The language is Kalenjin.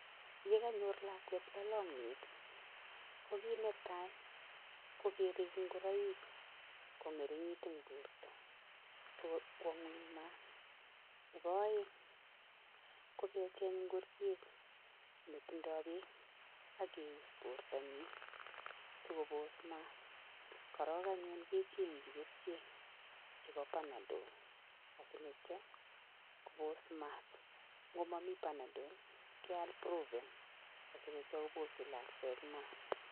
Ye kanyor lakwet lalanyet ii, ko kiit ne tai ko kerek ingoroik ko ngeringit eng borta so kwo nguny maat, nebo aeng ko kecheng ngoriet netindoi beek akeus bortanyi sikobos maat, korok anyun kechengchi kerichek chebo Panadol l asinityo kobos maat, ngomami Panadol keal Brufen asi nityo kobosyi lakwet maat.